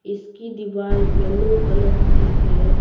इसकी दीवार yellow colour की है।